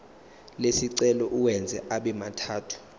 lesicelo uwenze abemathathu